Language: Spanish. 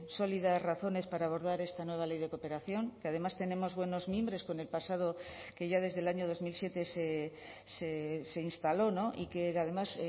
sólidas razones para abordar esta nueva ley de cooperación que además tenemos buenos mimbres con el pasado que ya desde el año dos mil siete se instaló y que además